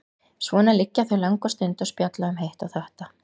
Svona liggja þau langa stund og spjalla um hitt og þetta.